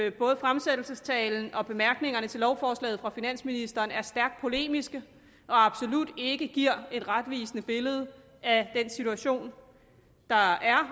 at både fremsættelsestalen og bemærkningerne til lovforslaget fra finansministeren er stærkt polemiske og absolut ikke giver et retvisende billede af den situation der er og